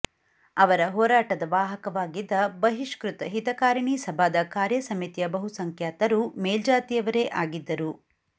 ಅವರ ಹೋರಾಟದ ವಾಹಕವಾಗಿದ್ದ ಬಹಿಷ್ಕೃತ ಹಿತಕಾರಣಿ ಸಭಾದ ಕಾರ್ಯಸಮಿತಿಯ ಬಹುಸಂಖ್ಯಾತರು ಮೇಲ್ಜಾತಿಯವರೇ ಆಗಿದ್ದರು